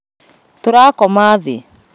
Tũrakoma thĩ